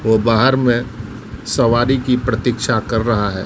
ओ बाहर में सवारी की प्रतीक्षा कर रहा है।